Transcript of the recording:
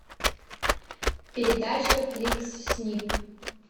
передача фликс снип